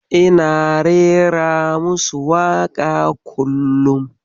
Ina rera musu waka kullum.